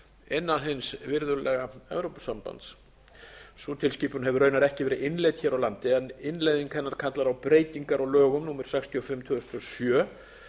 inn hins virðulega evrópusambands sú tilskipun hefur raunar ekki verið innleidd hér á landi en innleiðing hennar kallar á breytingar á lögum númer sextíu og fimm tvö þúsund og sjö